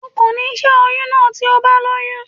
O kò ní ṣe oyún náà tí o bá lóyún.